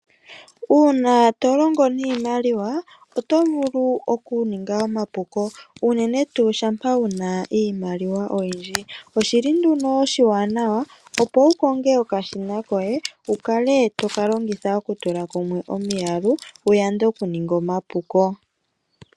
Uuna tolongo niimalwa oto vulu okuninga omapuko unene tu shapa wuna iimaliwa oyindji, oshili nduno oshiwanawa opo wu konge okashina koye wu kale toka longitha okutula kumwe omiyalu wu yande okuninga omapuko.